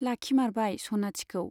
लाखिमारबाय सनाथिखौ।